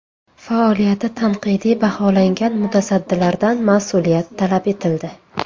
Faoliyati tanqidiy baholangan mutasaddilardan mas’uliyat talab etildi.